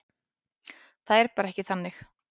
Það er bara ekki þannig.